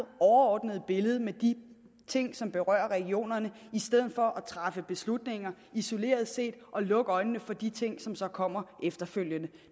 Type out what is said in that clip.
overordnede billede med de ting som berører regionerne i stedet for at træffe beslutninger isoleret set og lukke øjnene for de ting som så kommer efterfølgende